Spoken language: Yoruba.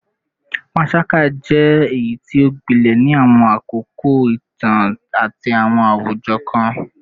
Panṣaga jẹ eyiti o gbilẹ ni awọn akoko itan ati awọn awujọ kan